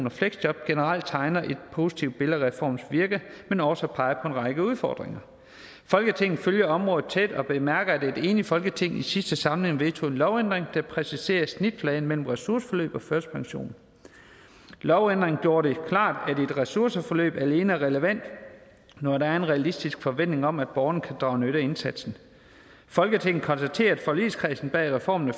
og fleksjob generelt tegner et positivt billede af reformens virke men også peger på en række udfordringer folketinget følger området tæt og bemærker at et enigt folketing i sidste samling vedtog en lovændring der præciserede snitfladen mellem ressourceforløb og førtidspension lovændringen gjorde det klart at et ressourceforløb alene er relevant når der er en realistisk forventning om at borgeren kan drage nytte af indsatsen folketinget konstaterer at forligskredsen bag reformen af